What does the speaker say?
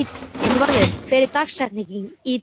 Einvarður, hver er dagsetningin í dag?